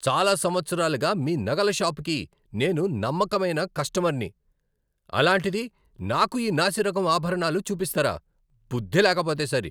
చాలా సంవత్సరాలుగా మీ నగల షాపుకి నేను నమ్మకమైన కష్టమర్ని, అలాంటిది నాకు ఈ నాసిరకం ఆభరణాలు చూపిస్తారా? బుద్ధి లేకపోతే సరి.